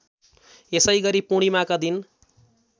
यसैगरी पूर्णिमाका दिन